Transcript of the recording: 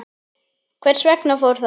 Hvers vegna fór það?